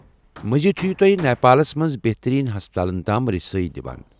مزید چھٗ یہِ تۄہہِ نیپالس منٛز بہترین ہسپتالن تام رسٲیی دِوان ۔